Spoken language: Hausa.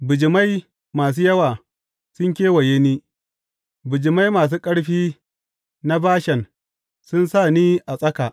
Bijimai masu yawa sun kewaye ni; bijimai masu ƙarfi na Bashan sun sa ni a tsaka.